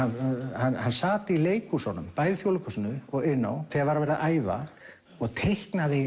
hann sat í leikhúsunum bæði Þjóðleikhúsinu og Iðnó þegar var verið að æfa og teiknaði